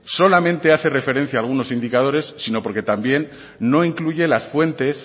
solamente hace referencia a algunos indicadores sino porque también no incluye las fuentes